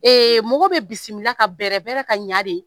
Ee mɔgɔ bɛ bisimila ka bɛrɛ bɛrɛ ka ɲa de